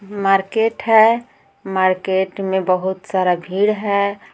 Market है market में बहुत सारा भीड़ है।